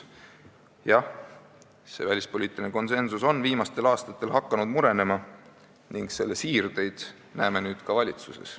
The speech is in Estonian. Jah, see välispoliitiline konsensus on viimastel aastatel hakanud murenema ning selle siirdeid näeme nüüd ka valitsuses.